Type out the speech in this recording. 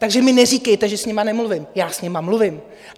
Takže mi neříkejte, že s nimi nemluvím, já s nimi mluvím.